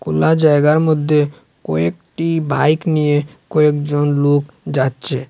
খোলা জায়গার মধ্যে কয়েকটি বাইক নিয়ে কয়েকজন লোক যাচ্ছে।